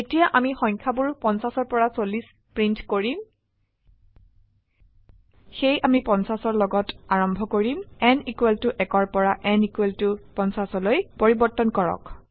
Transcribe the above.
এতিয়া আমি সংখয়াবোৰ 50 পৰা 40 প্ৰিন্ট কৰিম সেয়ে আমি 50অৰ লগত আৰম্ভ কৰিম n 1 পৰা n 50 লৈ পৰিবৰ্তন কৰক